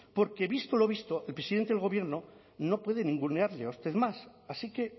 porque visto lo visto el presidente del gobierno no puede ningunearle a usted más así que